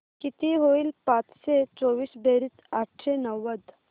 किती होईल पाचशे चोवीस बेरीज आठशे नव्वद